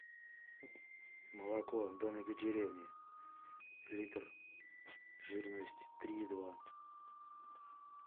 молоко домик в деревне литр жирность три и два